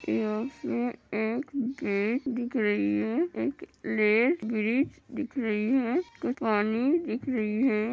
इसमें एक गेट दिख रही है। एक लेक ब्रिज दिख रही है। पानी दिख रही है।